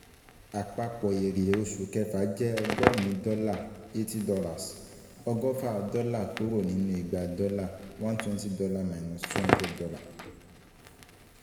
Àpapọ̀ èrè fún oṣù kẹfà jẹ́ ọgọ́rin dọ́là 80 dollars ọgọfa dọ́là kúrò nínú igba dọ́lá 200-120.